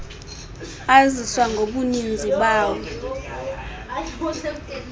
aziswa ngobuninzi bawo